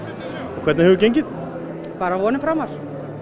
hvernig hefur gengið bara vonum framar